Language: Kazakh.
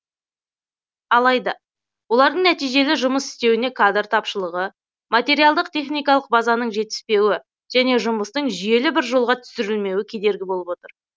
алайда олардың нәтижелі жұмыс істеуіне кадр тапшылығы материалдық техникалық базаның жетіспеуі және жұмыстың жүйелі бір жолға түсірілмеуі кедергі болып отыр